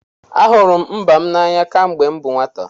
Ahụrụ m mba m n'anya kemgbe m bụ nwata.